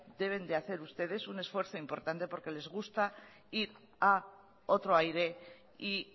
deben de hacer ustedes un esfuerzo importante porque les gusta ir a otro aire y